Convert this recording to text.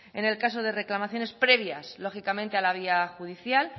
en el caso de reclamaciones previas lógicamente a la vía judicial